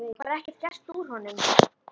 Lífið var bara ekki gert úr honum.